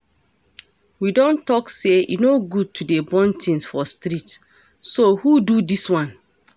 We don talk say e no good to dey burn things for street so who do dis one?